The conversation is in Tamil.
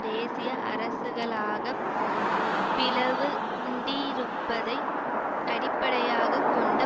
தேசிய அரசுகளாகப் பிளவுண்டிருப்பதை அடிப்படையாக கொண்ட